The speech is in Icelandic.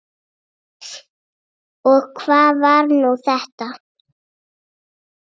Og hvað var nú þetta!